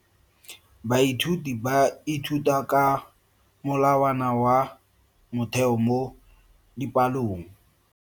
Baithuti ba ithuta ka molawana wa motheo mo dipalong.